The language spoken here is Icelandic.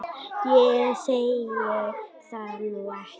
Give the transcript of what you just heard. Ég segi það nú ekki.